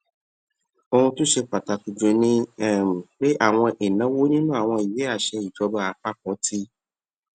ohun tó ṣe pàtàkì jù ni um pé àwọn ìnáwó nínú àwọn ìwé àṣẹ ìjọba àpapọ ti